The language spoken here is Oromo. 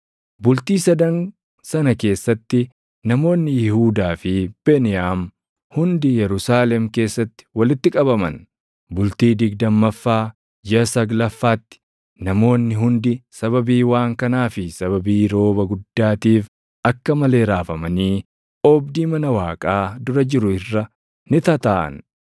Bultii sadan sana keessatti namoonni Yihuudaa fi Beniyaam hundi Yerusaalem keessatti walitti qabaman. Bultii digdammaffaa jiʼa saglaffaatti namoonni hundi sababii waan kanaa fi sababii rooba guddaatiif akka malee raafamanii oobdii mana Waaqaa dura jiru irra ni tataaʼan.